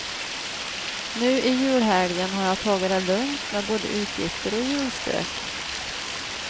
Nu i julhelgen har jag tagit det lugnt, med både utgifter och julstök.